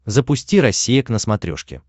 запусти россия к на смотрешке